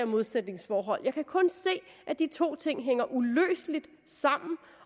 modsætningsforhold jeg kan kun se at de to ting hænger uløseligt sammen